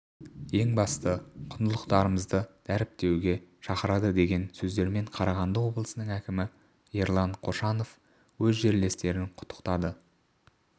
ең басты құндылықтарымызды дәріптеуге шақырады деген сөздермен қарағанды облысының әкімі ерлан қошанов өз жерлестерін құттықтады